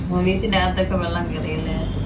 ഓ വീട്ടിനക്കത്ത് ഒക്കെ വെള്ളം കേറിയല്ലേ?